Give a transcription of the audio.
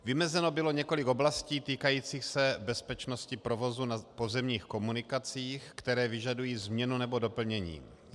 Vymezeno bylo několik oblastí týkajících se bezpečnosti provozu na pozemních komunikacích, které vyžadují změnu nebo doplnění.